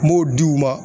N b'o di u ma